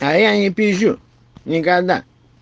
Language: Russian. а я не пизжу никогда